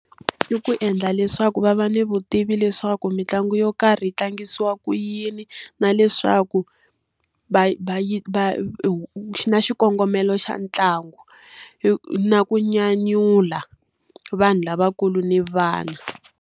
I ku endla leswaku va va ni vutivi leswaku mitlangu yo karhi yi tlangisiwa ku yini. Na leswaku va va va na xikongomelo xa ntlangu. Na ku nyanyula vanhu lavakulu ni vana.